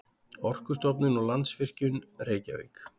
Orkustofnun og Landsvirkjun, Reykjavík.